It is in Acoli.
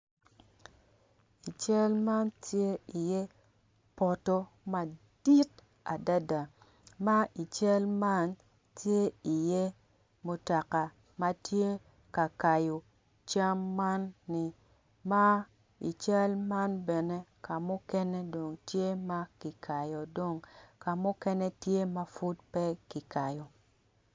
I cal man tye i ye poto madit adada ma i cal man tye i ye mutoka matye kakayo cam man ni ma ical man bene kamukene tye ma kikayo dong kamukene tye mapud pe ki kayo.